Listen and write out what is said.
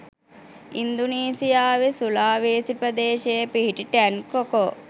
ඉන්දුනීසියාවේ Sulawesi ප්‍රදේශයේ පිහිටි Tangkoko